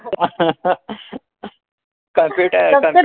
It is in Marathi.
सांगते काय?